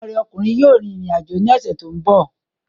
Ọmọ rẹ ọkùnrin yóò rìn rìn àjò ní ọ̀sẹ̀ tó ń bọ̀